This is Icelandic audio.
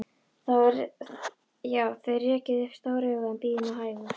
Já, þér rekið upp stór augu, en bíðið nú hægur.